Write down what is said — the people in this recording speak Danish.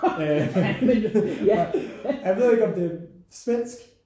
Øh og og jeg ved ikke om det svensk